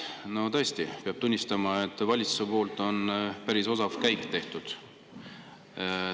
No tõesti, peab tunnistama, et valitsuse poolt on päris osav käik tehtud.